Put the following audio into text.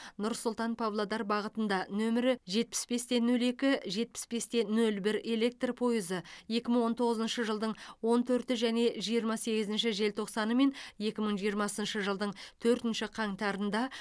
нұр сұлтан павлодар бағытында нөмірі жетпіс бес те нөл екі жетпіс бес те нөл бір электр пойызы екі мың он тоғызыншы жылдың он төрті және жиырма сегізінші желтоқсаны мен екі мың жиырмасыншы жылдың төртінші қаңтарында